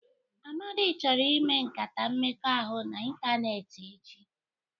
Amadi chọrọ ịme nkata mmekọahụ n'ịntanetị echi.